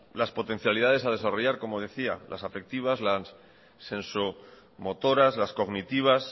las potencialidades a desarrollar las afectivas las senso motoras las cognitivas